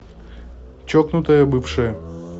чокнутая бывшая